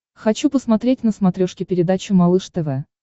хочу посмотреть на смотрешке передачу малыш тв